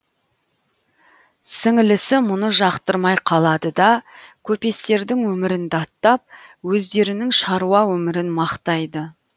сіңлісі мұны жақтырмай қалады да көпестердің өмірін даттап өздерінің шаруа өмірін мақтайды